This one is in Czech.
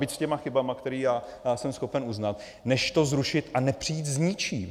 Byť s těmi chybami, které já jsem schopen uznat, než to zrušit a nepřijít s ničím.